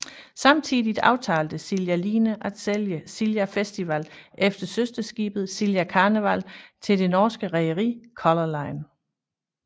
Samtidigt aftalte Silja Line at sælge Silja Festival eller søsterskibet Silja Karneval til det norske rederi Color Line